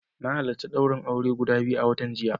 Na halarci daurin aure guda biyu a watan jiya.